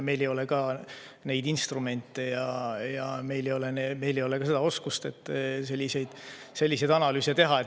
Meil ei ole neid instrumente ja meil ei ole seda oskust, et selliseid selliseid analüüse teha.